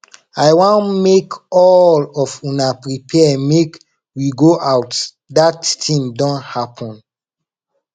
i wan make all of una prepare make we go out dat thing don happen